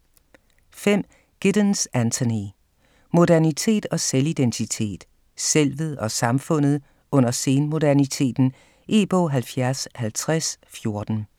5. Giddens, Anthony: Modernitet og selvidentitet: selvet og samfundet under sen-moderniteten E-bog 705014